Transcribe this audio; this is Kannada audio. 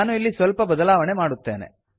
ನಾನು ಇಲ್ಲಿ ಸಲ್ಪ ಬದಲಾವಣೆ ಮಾಡುತ್ತೇನೆ